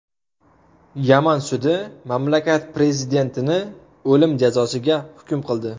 Yaman sudi mamlakat prezidentini o‘lim jazosiga hukm qildi.